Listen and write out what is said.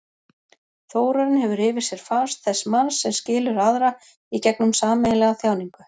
Þórarinn hefur yfir sér fas þess manns sem skilur aðra í gegnum sameiginlega þjáningu.